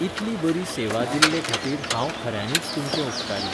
इतली बरी सेवा दिल्लेखातीर हांव खऱ्यांनीच तुमचें उपकारी.